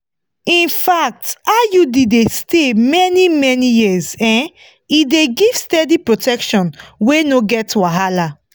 infact iud dey stay many-many years um e dey give steady protection wey no get wahala.